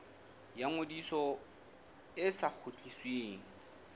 ya ngodiso e sa kgutlisweng